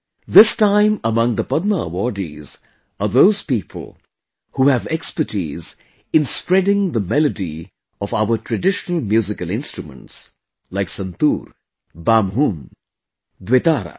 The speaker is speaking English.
This time among the Padma awardees are those people who have expertise in spreading the melody of our traditional musical instruments like Santoor, Bamhum, Dwitara